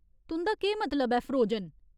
तुं'दा केह् मतलब ऐ फ्रोजन ?